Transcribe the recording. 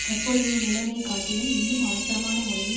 தற்பொழுதைய நிலைமை காட்டிலும் இன்னும் அவசரமான முறையில்